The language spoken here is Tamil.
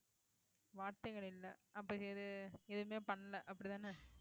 வார்த்தைகள் இல்லை அப்படி எது எதுவுமே பண்ணலை அப்படித்தானே